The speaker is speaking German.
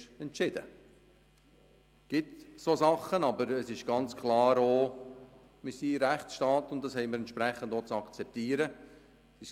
Es gibt solche Dinge, aber ganz klar ist auch, dass wir ein Rechtsstaat sind und dies auch entsprechend zu akzeptieren haben.